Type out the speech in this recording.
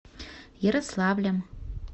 ярославлем